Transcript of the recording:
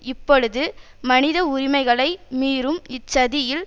இப்பொழுது மனித உரிமைகளை மீறும் இச்சதியில்